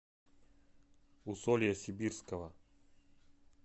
усолья сибирского